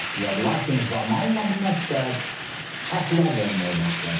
Lakin zamanla bu məqsəd çatırlar verməyə başladı.